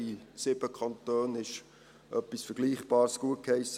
In 7 Kantonen wurde etwas Vergleichbares gutgeheissen.